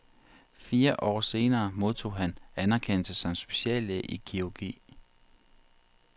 Fire år senere modtog han anerkendelse som speciallæge i kirurgi.